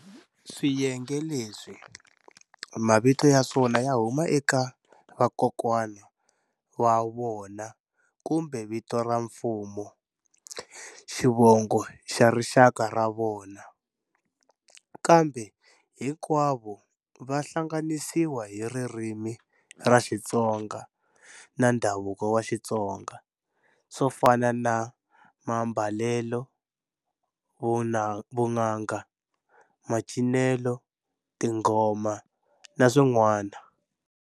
Swiyenge leswi, mavito ya swona ya huma eka vakokwani wa vona kumbe vito ra mfumo xivongo xa rixaka ra vona, kambe hinkwavo va hlanganisiwa hi ririmi ra Xitsonga na ndhavuko wa Xitsonga, swo fana na mambalelo, vunanga, macinelo, tingoma, na swin'wana.